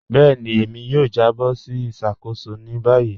Bẹẹni, èmi yóò jàbọ̀ sí ìṣakóṣò ní báyì.